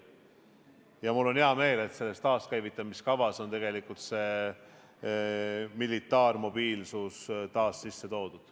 Ja mul on hea meel, et taaskäivitamise kavasse on tegelikult see militaarmobiilsus taas sisse toodud.